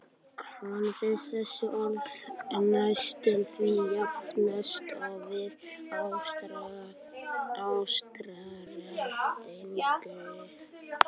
Honum finnst þessi orð næstum því jafnast á við ástarjátningu.